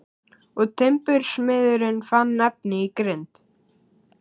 Og timbursmiðurinn fann efni í grind.